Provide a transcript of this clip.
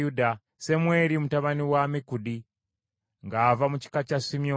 Semweri mutabani wa Ammikudi ng’ava mu kika kya Simyoni.